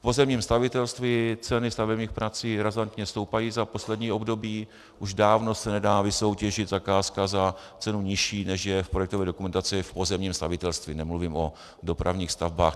V pozemním stavitelství ceny stavebních prací razantně stoupají za poslední období, už dávno se nedá vysoutěžit zakázka za cenu nižší, než je v projektové dokumentaci v pozemním stavitelství, nemluvím o dopravních stavbách.